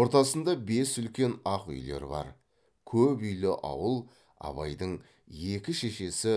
ортасында бес үлкен ақ үйлер бар көп үйлі ауыл абайдың екі шешесі